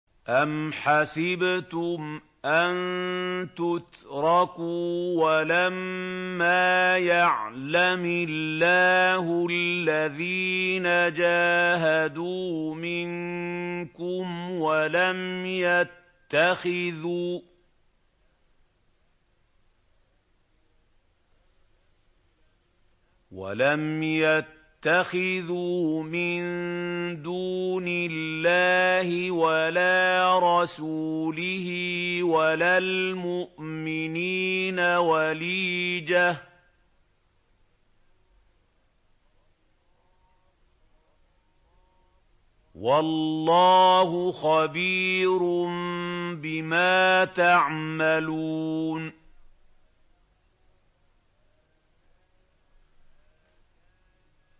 أَمْ حَسِبْتُمْ أَن تُتْرَكُوا وَلَمَّا يَعْلَمِ اللَّهُ الَّذِينَ جَاهَدُوا مِنكُمْ وَلَمْ يَتَّخِذُوا مِن دُونِ اللَّهِ وَلَا رَسُولِهِ وَلَا الْمُؤْمِنِينَ وَلِيجَةً ۚ وَاللَّهُ خَبِيرٌ بِمَا تَعْمَلُونَ